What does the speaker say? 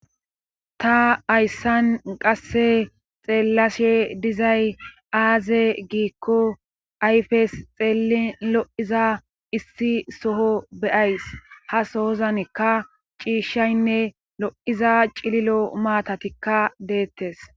ta ayssan qasse xeellashe dizay aaze giikko ayfes xeelin lo7iza issi soho beyays ha soozanekka ciishshaynne lo7iza cililo maatatikka deettes